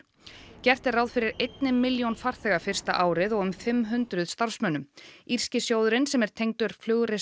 gert er ráð fyrir einni milljón farþega fyrsta árið og um fimm hundruð starfsmönnum írski sjóðurinn sem er tengdur